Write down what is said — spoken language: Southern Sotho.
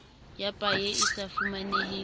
ya paye e sa fumaneheng